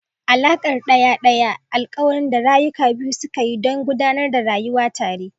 alakar daya-daya: alkawarin da rayuka biyu suka yi don gudanar da rayuwa tare.